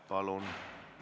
Palun!